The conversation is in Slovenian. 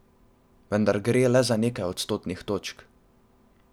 Vendar gre le za nekaj odstotnih točk.